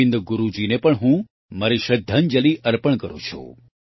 ગોવિંદ ગુરૂજીને પણ હું મારી શ્રદ્ધાંજલિ અર્પણ કરું છું